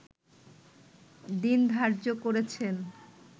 দিন ধার্য করেছেন